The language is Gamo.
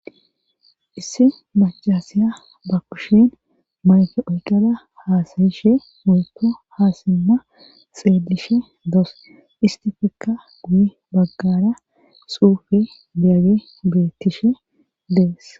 issi macasiya ba kushin mayke oykada haasayishe woykko haasimma xeelishe doos istifekka guyi baggara suufe beyage beettishe dees